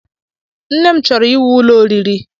Nne m chọrọ íwú ụlọ oriri